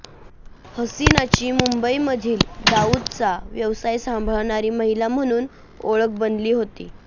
हसिनाची मुंबईमधील दाऊदचा व्यवसाय सांभाळणारी महिला म्हणून ओळख बनली होती